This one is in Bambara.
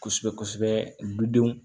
Kosɛbɛ kosɛbɛ dudenw